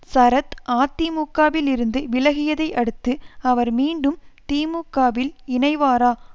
சரத் அதிமுகவிலிருந்து விலகியதை அடுத்து அவர் மீண்டும் திமுகவில் இணைவாரா